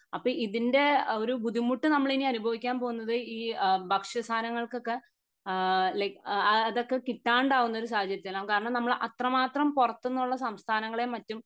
അപ്പൊ ഇതിൻ്റെ ഒരു ബുദ്ധിമുട്ട് നമ്മളിനി അനുഭവിക്കാൻ പോകുന്നത് ഈ ഭക്ഷ്യ സാനങ്ങൾകൊക്കെ ആഹ് ലൈക് അതൊക്കെ കിട്ടാണ്ടാകുന്ന ഒരു സാഹചര്യത്തിലാണ് കാരണം നമ്മൾ അത്ര മാത്രം പൊറത്തൂന്നുള്ള സംസ്ഥാനങ്ങളെ മറ്റും